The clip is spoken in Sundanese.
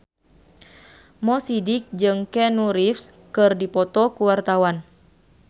Mo Sidik jeung Keanu Reeves keur dipoto ku wartawan